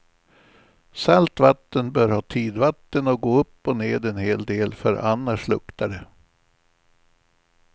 Salt vatten bör ha tidvatten och gå upp och ned en hel del, för annars luktar det.